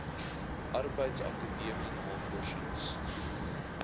arbeids akademiese navorsings